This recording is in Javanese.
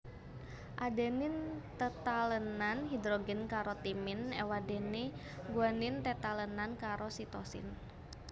Adenin tetalènan hidrogen karo timin éwadéné guanin tetalènan karo sitosin